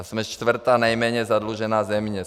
A jsme čtvrtá nejméně zadlužená země.